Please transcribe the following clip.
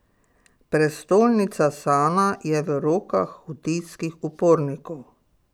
Prestolnica Sana je v rokah hutijskih upornikov.